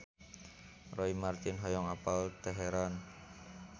Roy Marten hoyong apal Teheran